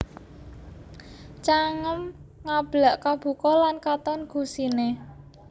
Cangem Ngablak Kabuka lan katon gusiné